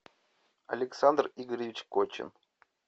александр игоревич кочин